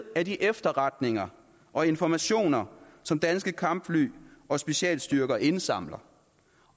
af de efterretninger og informationer som danske kampfly og specialstyrker indsamler